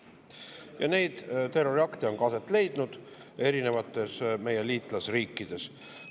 Ja neid terroriakte on ka aset leidnud erinevates meie liitlasriikides.